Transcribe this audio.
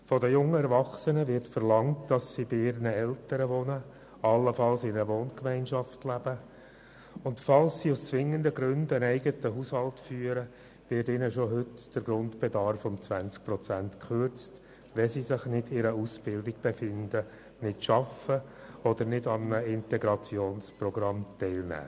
Von den jungen Erwachsenen wird verlangt, dass sie bei ihren Eltern wohnen, allenfalls in einer Wohngemeinschaft leben, und falls sie aus zwingenden Gründen einen eigenen Haushalt führen, wird ihnen schon heute der Grundbedarf um 20 Prozent gekürzt, wenn sie sich nicht in einer Ausbildung befinden, nicht arbeiten oder nicht an einem Integrationsprogramm teilnehmen.